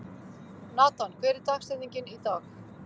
Natan, hver er dagsetningin í dag?